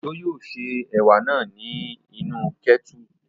Òjó yóò se ẹ̀wà náà ní inú kẹ́tùrù